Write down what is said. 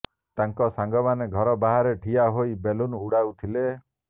ତାଙ୍କ ସାଙ୍ଗମାନେ ଘର ବାହାରେ ଠିଆ ହୋଇ ବେଲୁନ୍ ଉଡାଉଥିଲେ